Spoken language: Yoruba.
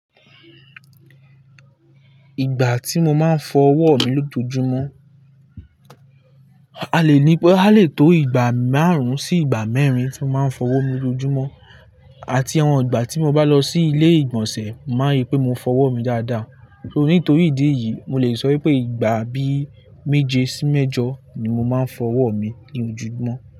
Ìgbà tí mo máa ń fọ ọwọ́ mi lójoojúmọ́, a lè ní pé a lè tó ìgbà márùn-ún sí ìgbà mẹ́rin tí mo máa ń fọ ọwọ́ mi lójúmọ́. Àti àwọn ìgbà tí mo bá lọ sí ilé-ìgbọ̀nsẹ̀, mo máa rí i pé mo fọ ọwọ́ mi dáadáa. Nítorí ìdí yìí, mo lè sọ wípé ìgbà bí méje sí mẹ́jọ ni mo máa ń fọ ọwọ́ mi ní ojoojúmọ́